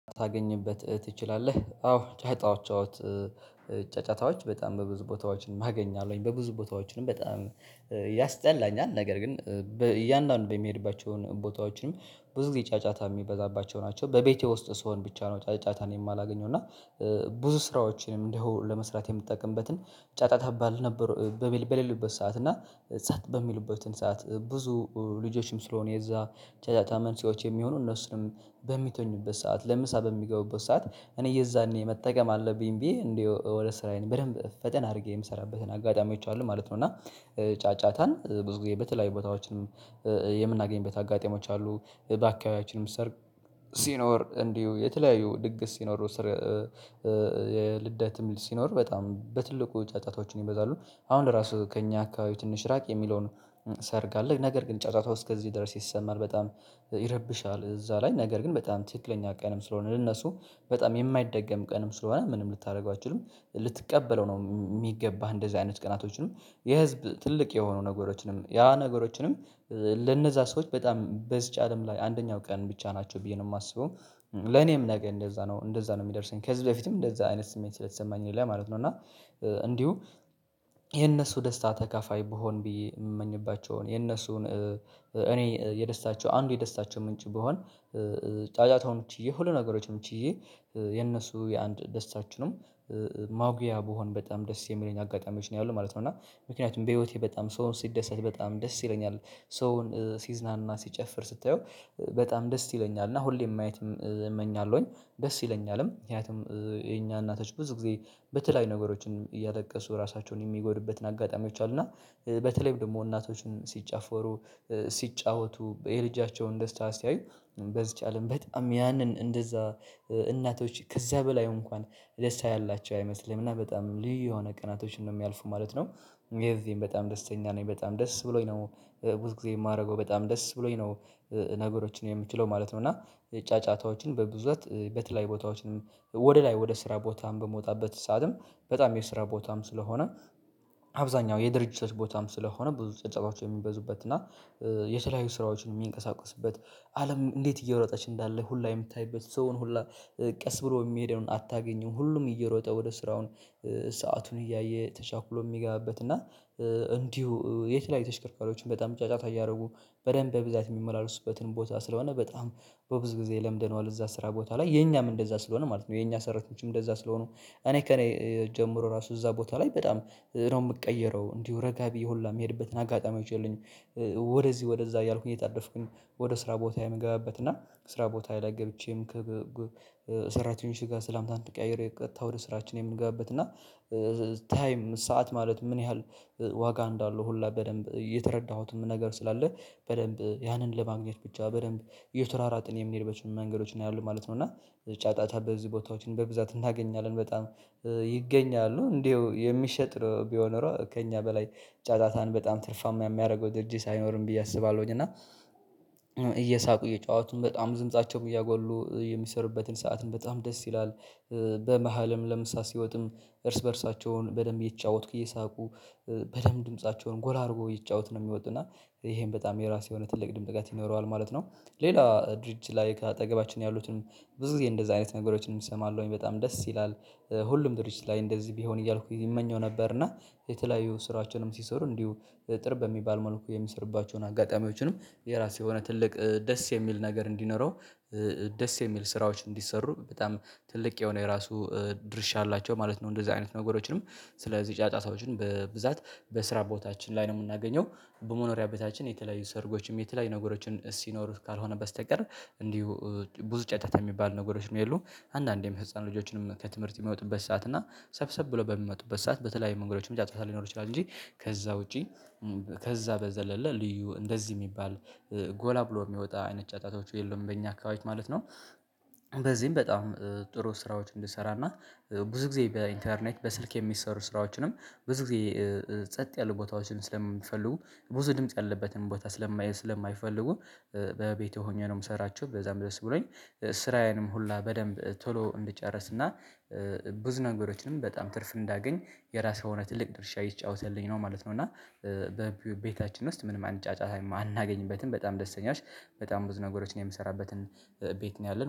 "ታገኝበት ትችላለህ?" አዎ፤ ጫጫዎች ጫጫታዎች በጣም በብዙ ቦታዎችን አገኛለሁኝ። በብዙ ቦታዎችንም በጣም ያስጠላኛል፤ ነገር ግን እያንዳንዱ በምሄድባቸውን ቦታዎችንም ብዙ ጊዜ ጫጫታ የሚበዛባቸው ናቸው። በቤቴ ውስጥ ስሆን ብቻ ነው ጫጫታን የማላገኘው፤ እና ብዙ ስራዎችንም እንደው ለመስራት የምጠቀምበትን ጫጫታ ባልነበር በሌሉበት ሰዓት እና ጸት በሚሉበትን ሰዓት ብዙ ልጆችም ስለሆኑ የዛ ጫጫታ መንስኤ የሚሆኑ እነሱንም በሚተኙበት ሰዓት ለምሳ በሚገቡበት ሰዓት እኔ የዛኔ መጠቀም አለብኝ ብዬ እንደው ወደ ስራዬን በደንብ ፈጠን አድርጌ የምሰራበትን አጋጣሚዎች አሉ ማለት ነው፤ እና ጫጫታን ብዙ ጊዜ በተለያዩ ቦታዎችም የምናገኝበት አጋጣሚዎች አሉ። በአካባቢያያችንም ሰርግ ሲኖር እንዲሁ የተለያዩ ድግስ ሲኖሩ ስር ልደትም ሲኖር በጣም በትልቁ ጫጫታዎችም ይበዛሉ አሁን ራሱ ከእኛ አካባቢ ትንሽ ራቅ የሚለውን ሰርግ አለ ነገር ግን ጫጫታው እስከዚህ ድረስ ይሰማል በጣም ይረብሻል እዛ ላይ ነገር ግን በጣም ትክክለኛ ቀንም ስለሆነ ለነሱ በጣም የማይደገም ቀንም ስለሆነ ምንም ልታደርገው አትችልም ልትቀበለው ነው የሚገባህ እንደዚህ አይነት ቀናቶችንም የህዝብ ትልቅ የሆኑ ነገሮችንም ያ ነገሮችንም ለነዛ ሰዎች በጣም በዚች አለም ላይ አንደኛው ቀን ብቻ ናቸው ብዬ ነው የማስበው። ለኔም ነገ እንደዛ ነው እንደዛ ነው የሚደርሰኝ ከዚህ በፊትም እንደዛ አይነት ስሜት ስለተሰማኝ ሁላ ማለት ነው፤ እና እንዲሁ የነሱ ደስታ ተካፋይ ብሆን ብዬ የምመኝባቸውን የነሱን እኔ የደስታቸው አንዱ የደስታቸው ምንጭ ብሆን ጫጫታውን ችዬ ሁሉ ነገሮችን ችዬ የነሱ የአንድ ደስታችሁንም ማጉያ ብሆን በጣም ደስ የሚለኝ አጋጣሚዎች ነው ያሉት ማለት ነው፤ እና ምክንያቱም በህይወቴ በጣም ሰውን ሲደሰት በጣም ደስ ይለኛል ሰውን ሲዝናና ሲጨፍር ስታየው በጣም ደስ ይለኛል እና ሁሌም ማየትም እመኛለሁኝ ደስ ይለኛልም ምክንያቱም የኛ እናቶች ብዙ ጊዜ በተለያዩ ነገሮችን እያለቀሱ ራሳቸውን የሚጎድበትን አጋጣሚዎች አሉ፤ እና በተለይም ደግሞ እናቶችን ሲጫፈሩ፣ ሲጫወቱ፣ የልጃቸውን ደስታ ሲያዩ፣ በዚች አለም በጣም ያንን እንደዛ እናቶች ከዛ በላይ እንኳን ደስታ ያላቸው አይመስልም እና በጣም ልዩ የሆነ ቀናቶችን ነው የሚያልፉ ማለት ነው። የዚህም በጣም ደስተኛ ነኝ በጣም ደስ ብሎኝ ነው ብዙ ጊዜ የማደርገው በጣም ደስ ብሎኝ ነው። ነገሮችን የምችለው ማለት ነው እና ጫጫታዎችን በብዛት በተለያዩ ቦታዎችን ወደ ላይ ወደ ስራ ቦታም በምወጣበት ሰዓትም በጣም የስራ ቦታም ስለሆነ አብዛኛው የድርጅቶች ቦታም ስለሆነ ብዙ ጭብጨባዎች የሚበዙበት እና የተለያዩ ስራዎችም የሚንቀሳቀሱበት አለም እንዴት እየሮጠች እንዳለ ሁላ የምታይበት ሰውን ሁላ ቀስ ብሎ የሚሄደውን አታገኝም ሁሉም እየሮጠ ወደ ስራውን ሰአቱን እያየ ተቻኩሎ የሚገባበት እና እንዲሁ የተለያዩ ተሽከርካሪዎችን በጣም ጫጫታ እያደረጉ በደንብ በብዛት የሚመላለሱበትንም ቦታ ስለሆነ በጣም በብዙ ጊዜ ለምደነዋል እዛ ስራ ቦታ ላይ የኛም እንደዛ ስለሆነ ማለት ነው የኛ ሰራተኞችም እንደዛ ስለሆኑ እኔ ከእኔ ጀምሮ ራሱ እዛ ቦታ ላይ በጣም ነው የምቀየረው እንዲሁ ረጋ ብዬ ሁላ የምሄድበትን አጋጣሚዎች የሉኝም። ወደዚህ ወደዛ እያልኩኝ እየተጣደፍኩኝ ወደ ስራ ቦታ የምገባበት እና ስራ ቦታዬ ላይ ገብቼም ሰራተኞቼ ጋር ሰላምታን ተቀያይሬ ቀጥታ ወደ ስራችን የምገባበት እና ታይም ሰዓት ማለት ምን ያህል ዋጋ እንዳለው ሁላ በደንብ የተረዳሁትም ነገር ስላለ በደንብ ያንን ለማግኘት ብቻ በደንብ እየተሯሯጥን የሚሄድበት መንገዶችን እናያለን ማለት ነው። እና ጫጫታ በዚህ ቦታዎችን በብዛት እናገኛለን በጣም ይገኛሉ እንደው የሚሸጥ ነው ቢሆን ኖሮ ከእኛ በላይ ጫጫታን በጣም ትርፋማ የሚያደርገው ድርጅት አይኖርም ብዬ አስባለሁኝ እና እየሳቁ እየጨዋቱም በጣም ድምፃቸውን እያጎሉ የሚሰሩበትን ሰዓትን በጣም ደስ ይላል። በመሃልም ለምሳ ሲወጥም እርስ በእርሳቸውን በደንብ እየተጫወትኩ እየሳቁ በደንብ ድምፃቸውን ጎላ አድርገው እየተጫወት ነው የሚወጡ እና ይሄም በጣም የራሴ የሆነ ትልቅ ድምቀት ጋር ይኖረዋል ማለት ነው። ሌላ ድርጅት ላይ ከአጠገባችን ያሉትን ብዙ ጊዜ እንደዚህ አይነት ነገሮችንም እንሰማለሁኝ በጣም ደስ ይላል። ሁሉም ድርጅት ላይ እንደዚህ ቢሆን እያልኩ እመኘው ነበር እና የተለያዩ ስራዎችንም ሲሰሩ እንዲሁ ጥር በሚባል መልኩ የሚሰሩባቸውን አጋጣሚዎችንም የራሱ የሆነ ትልቅ ደስ የሚል ነገር እንዲኖረው ደስ የሚል ስራዎች እንዲሰሩ በጣም ትልቅ የሆነ የራሱ ድርሻ አላቸው ማለት ነው እንደዚህ አይነት ነገሮችንም ስለዚህ ጫጫታዎችን በብዛት በስራ ቦታችን ላይ ነው የምናገኘው። በመኖሪያ ቤታችን የተለያዩ ሰርጎችም የተለያዩ ነገሮችን ሲኖሩ ካልሆነ በስተቀር እንዲሁ ብዙ ጫጫታ የሚባሉ ነገሮችም የሉም። አንዳንዴም ህፃን ልጆችንም ከትምህርት የሚወጡበት ሰዓት እና ሰብሰብ ብለው በሚመጡበት ሰዓት በተለያዩ መንገዶችም ጫጫታ ሊኖር ይችላል እንጂ ከዛ ውጪ ከዛ በዘለለ ልዩ እንደዚህ የሚባል ጎላ ብሎ የሚወጣ አይነት ጫጫታዎች የሉም በእኛ አካባቢዎች ማለት ነው። በዚህም በጣም ጥሩ ስራዎች እንድሰራ እና ብዙ ጊዜ በኢንተርኔት በስልክ የሚሰሩ ስራዎችንም ብዙ ጊዜ ጸጥ ያሉ ቦታዎችን ስለሚፈልጉ ብዙ ድምጽ ያለበትን ቦታ ስለማ ስለማይፈልጉ በቤቴ ሆኜ ነው የምሰራቸው በዛም ደስ ብሎኝ ስራዬንም ሁላ በደንብ ቶሎ እንድጨርስና ብዙ ነገሮችንም በጣም ትርፍ እንዳገኝ የራሱ የሆነ ትልቅ ድርሻ እየተጫወተልኝ ነው ማለት ነው፤ እና በቤታችን ውስጥ ምንም አይነት ጫጫታም አናገኝበትም በጣም ደስተኛሽ በጣም ብዙ ነገሮችን የምሰራበትን ቤት ነው ያለን።